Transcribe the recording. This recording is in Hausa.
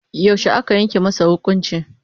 Yaushe aka yanke masa hukunci?